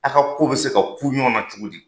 A ka kow bɛ se ka ku ɲɔgɔn na cogo di!